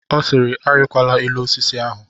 Ọ sịịrị, arịkwala elu osisi ahụ!